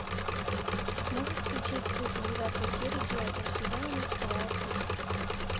можешь включить тридцать девятую серию девятого сезона не скрывая крик